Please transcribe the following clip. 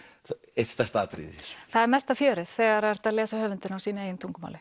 eitt stærsta atriðið í þessu það er mesta fjörið þegar er hægt að lesa höfundinn á sínu eigin tungumáli